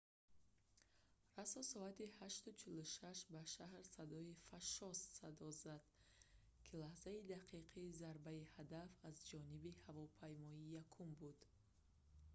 расо соати 8:46 ба шаҳр садое фашшос зад ки лаҳзаи дақиқи зарбаи ҳадаф аз ҷониби ҳавопаймои якум буд